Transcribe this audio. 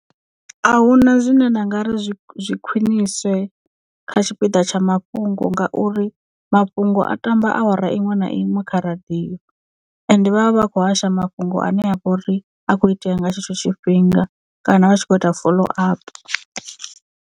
Ahuna zwine nda nga ri zwi zwi khwiniswe kha tshipiḓa tsha mafhungo ngauri mafhungo a tamba awara iṅwe na iṅwe kha radiyo ende vha vha vha khou hasha mafhungo ane a vha uri a kho itea nga tshetsho tshifhinga kana vha tshi kho ita follow up.